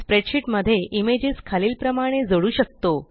spreadsheet मध्ये images खालील प्रमाणे जोडू शकतो